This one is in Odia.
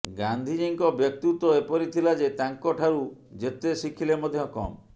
ଗାନ୍ଧିଜୀଙ୍କ ବ୍ୟକ୍ତିତ୍ୱ ଏପରି ଥିଲା ଯେ ତାଙ୍କ ଠାରୁ ଯେତେ ଶିଖିଲେ ମଧ୍ୟ କମ